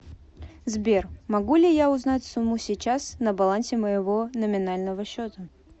сбер могу ли я узнать сумму сейчас на балансе моего номинального счета